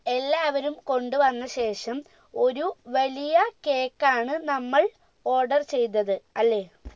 എല്ലാവരും കൊണ്ട് വന്ന ശേഷം ഒരു വലിയ cake ആണ് നമ്മൾ order ചെയ്തത് അല്ലെ